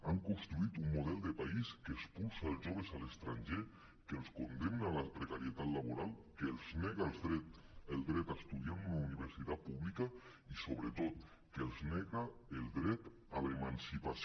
han construït un model de país que expulsa els joves a l’estranger que els condemna a la precarietat laboral que els nega el dret a estudiar en una universitat pública i sobretot que els nega el dret a l’emancipació